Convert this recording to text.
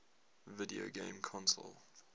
video game console